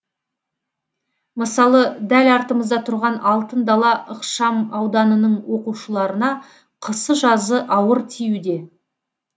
мысалы дәл артымызда тұрған алтын дала ықшамауданының оқушыларына қысы жазы ауыр тиюде